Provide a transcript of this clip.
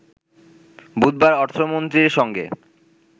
বুধবার অর্থমন্ত্রীরসঙ্গে